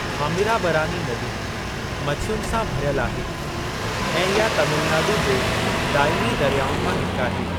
थामिराबरानी नदी मछियुनि सां भरियलु आहे ऐं इहा तामिलनाडू जे दाइमी दरियाउनि मां हिक आहे।